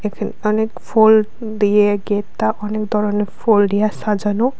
অনেক ফোল দিয়ে গেততা অনেক ধরনের ফোল দিয়া সাজানো।